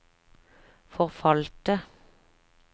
forfalte